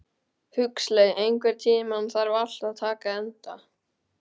Huxley, einhvern tímann þarf allt að taka enda.